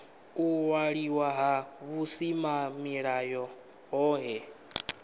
u waliwa ha vhusimamilayo hohe